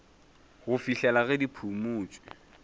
go fihlela ge di phumotšwe